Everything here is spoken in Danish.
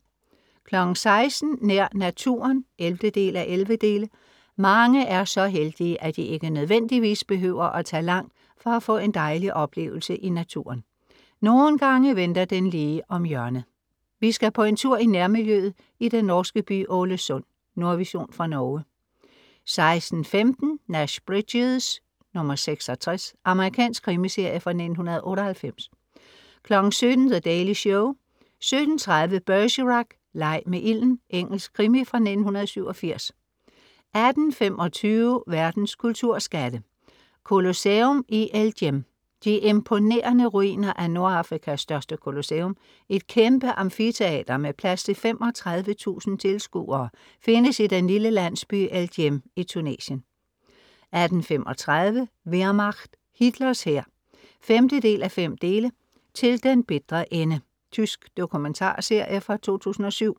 16:00 Nær naturen (11:11) Mange er så heldige, at de ikke nødvendigvis behøver at tage langt for at få en dejlig oplevelse i naturen, nogle gange venter den lige om hjørnet. Vi skal på en tur i nærmiljøet i den norske by Ålesund. Nordvision fra Norge 16:15 Nash Bridges (66) Amerikansk krimiserie fra 1998 17:00 The Daily Show 17:30 Bergerac: Leg med ilden. Engelsk krimi fra 1987 18:25 Verdens kulturskatte "Colosseum i El Djem" De imponerende ruiner af Nordafrikas største colosseum, et kæmpe amfiteater med plads til 35.000 tilskuere, findes i den lille landsby El Djem i Tunesien 18:35 Wehrmacht. Hitlers hær (5:5) "Til den bitre ende" Tysk dokumentarserie fra 2007